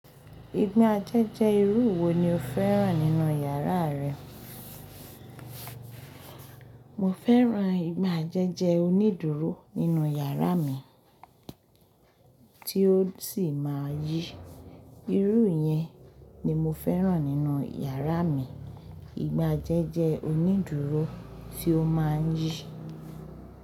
Ìgbà je jẹ́ irú wo ni o fẹ́ràn nínú yàrá rẹ? Mo fẹ́ràn ìgbà je jẹ onídùúró nínú yàrá mi, tí ó sì máa yí. Irú yẹn ni mo fẹ́ràn nínú yàrá mi. Ìgbà díẹ̀ jẹ onídùúró tí ó máa ń yí.